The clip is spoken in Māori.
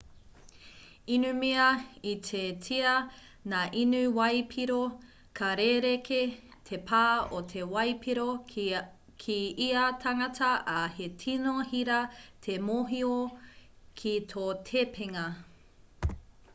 inumia ititia ngā inu waipiro ka rerekē te pā o te waipiro ki ia tangata ā he tino hira te mōhio ki tō tepenga